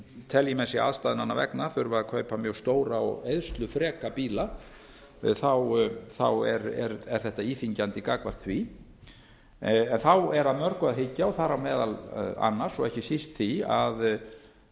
telji menn sig aðstæðnanna vegna þurfa að kaupa mjög stóra og eyðslufreka bíla er þetta íþyngjandi gagnvart því þá er að mörgu að hyggja þar á meðal annars og ekki síst því